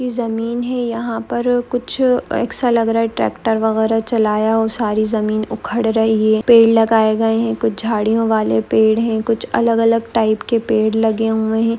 ये जमीन है यहाँ पर कुछ ऐसा लग रहा है ट्रैक्टर वगेरा चलाया हो सारी जमीन उखड़ रही है पेड़ लगाए गए है कुछ झाडीयों वाले पेड़ है कुछ अलग अलग टाइप के पेड़ लगे हुए है।